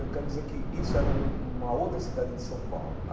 Eu quero dizer que isso era um um uma outra cidade de São Paulo.